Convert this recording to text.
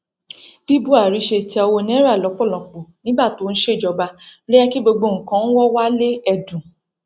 bí buhari ṣe tẹ owó naira lọpọlọpọ nígbà tó ń ṣèjọba ló jẹ kí gbogbo nǹkan wọnwale èdùn